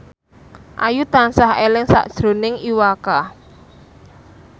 Ayu tansah eling sakjroning Iwa K